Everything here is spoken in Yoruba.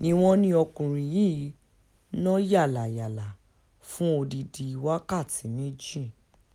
ni wọ́n ní ọkùnrin yìí ń nà yàlàyàlà fún odidi wákàtí méjì